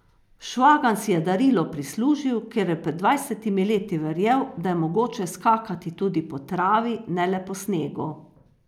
Švagan si je darilo prislužil, ker je pred dvajsetimi leti verjel, da je mogoče skakati tudi po travi, ne le po snegu.